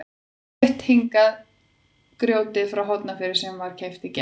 Flutt hingað í dag grjótið frá Hornafirði sem keypt var í gær.